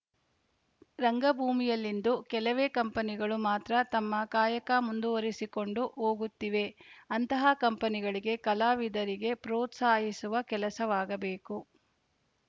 ರಂಗಭೂಮಿಯಲ್ಲಿಂದು ಕೆಲವೇ ಕಂಪನಿಗಳು ಮಾತ್ರ ತಮ್ಮ ಕಾಯಕ ಮುಂದುವರಿಸಿಕೊಂಡು ಹೋಗುತ್ತಿವೆ ಅಂತಹ ಕಂಪನಿಗಳಿಗೆ ಕಲಾವಿದರಿಗೆ ಪ್ರೋತ್ಸಾಹಿಸುವ ಕೆಲಸವಾಗಬೇಕು